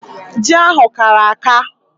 Ji ahụ kara aka.